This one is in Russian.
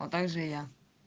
вот также и я